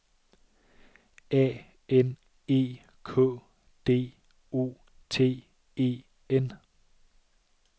A N E K D O T E N